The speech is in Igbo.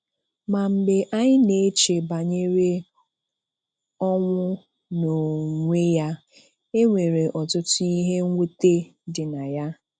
Ma mgbe anyị na-eche banyere ọnwụ n'onwe ya, e nwere ọtụtụ ihe mwute dị na ya.